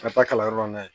Ka taa kalanyɔrɔ la yen